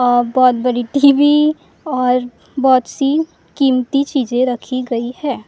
और बहुत बड़ी टीवी और बहुत सी कीमती चीजे रखी गई है।